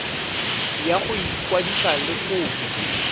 ya go ikwadisa le kopo